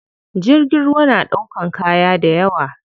Jirgin ruwa na ɗaukan kaya dayawa.